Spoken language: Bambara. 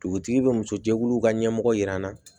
Dugutigi bɛ muso jɛkuluw ka ɲɛmɔgɔ jira an na